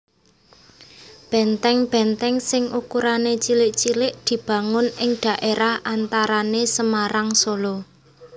Benteng benteng sing ukurané cilik cilik dibangun ing dhaérah antarané Semarang Solo